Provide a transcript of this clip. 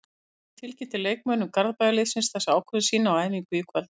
Bjarni tilkynnti leikmönnum Garðabæjarliðsins þessa ákvörðun sína á æfingu í kvöld.